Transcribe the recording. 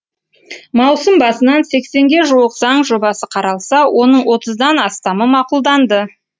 маусым басынан сексенге жуық заң жобасы қаралса оның отыздан астамы мақұлданды